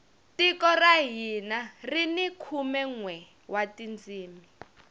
tiko ra hina rini khume nwe wa tindzimi